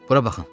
Bura baxın.